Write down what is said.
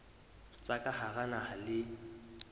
tsa ka hara naha le